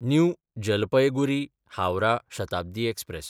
new जलपयगुरी–हावराह Shatabdi express